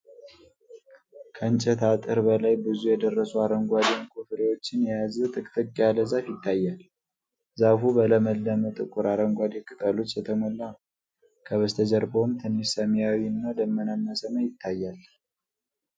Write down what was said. ከእንጨት አጥር በላይ ብዙ የደረሱ አረንጓዴ ዕንቊ ፍሬዎችን የያዘ ጥቅጥቅ ያለ ዛፍ ይታያል። ዛፉ በለመለመ ጥቁር አረንጓዴ ቅጠሎች የተሞላ ነው፤ ከበስተጀርባውም ትንሽ ሰማያዊና ደመናማ ሰማይ ይታያል።